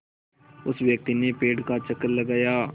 उस व्यक्ति ने पेड़ का चक्कर लगाया